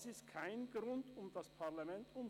Das ist kein Grund, das Parlament zu umgehen.